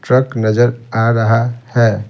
Truck नजर आ रहा है।